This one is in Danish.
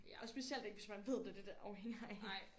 Ja og specielt ikke hvis man ved det det det afhænger af